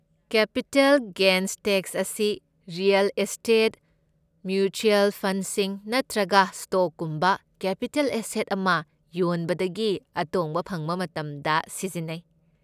Capital gains tax ꯑꯁꯤ real estate, mutual ꯐꯟꯗꯁꯤꯡ ꯅꯠꯇ꯭ꯔꯒ ꯁ꯭ꯇꯣꯛꯀꯨꯝꯕ ꯀꯦꯄꯤꯇꯦꯜ ꯑꯦꯁꯦꯠ ꯑꯃ ꯌꯣꯟꯕꯗꯒꯤ ꯑꯇꯣꯡꯕ ꯐꯪꯕ ꯃꯇꯝꯗ ꯁꯤꯖꯤꯟꯅꯩ꯫